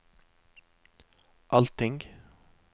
allting